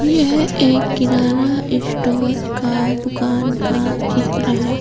यह एक किराना स्टोर का दुकान का चित्र है।